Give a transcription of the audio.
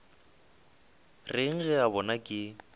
reng ge a bona ke